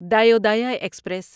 Dayodaya express